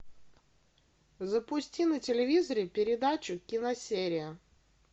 запусти на телевизоре передачу киносерия